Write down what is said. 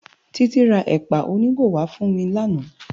Titi rá èpá ónigó wá fún mi làná